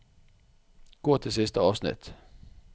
Gå til siste avsnitt